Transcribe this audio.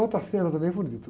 Outra cena também, é bonito